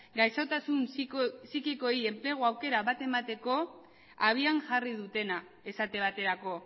gaixotasun psikikoei enplegu aukera bat emateko abian jarri dutena esate baterako